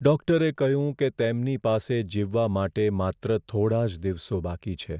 ડૉક્ટરે કહ્યું કે તેમની પાસે જીવવા માટે માત્ર થોડા જ દિવસો બાકી છે.